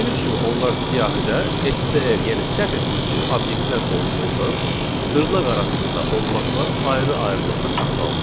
Gördüyünüz kimi onlar siyahıda SDR, yəni sətir tipli obyektlər olduğundan dırnaq arasında olmaqla ayrı-ayrılıqda saxlanılır.